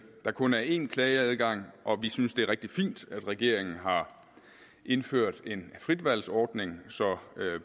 der kun er én klageadgang og vi synes det er rigtig fint at regeringen har indført en frit valg ordning så